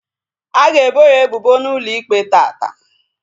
A ga ebo ya ebubo n'ụlọ ikpe taata